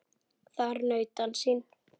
Þar naut hann sín.